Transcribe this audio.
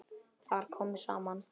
Þar komu saman